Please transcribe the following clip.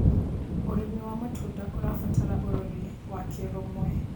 Ũrĩmĩ wa matũnda ũrabatara ũrorĩ wa kĩrũmwe